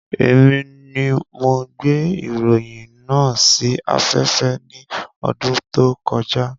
Èmi ni mo gbé ìròyìn náà sí afẹ́fẹ́ ní ọdún tó kọjá